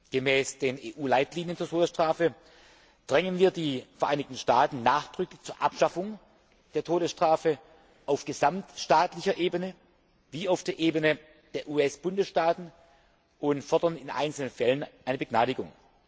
Gemäß den EU Leitlinien zur Todesstrafe drängen wir die Vereinigten Staaten nachdrücklich zur Abschaffung der Todesstrafe auf gesamtstaatlicher Ebene wie auf der Ebene der US Bundesstaaten und fordern in einzelnen Fällen eine Begnadigung.